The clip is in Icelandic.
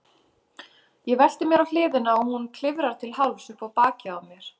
Ég velti mér á hliðina og hún klifrar til hálfs upp á bakið á mér.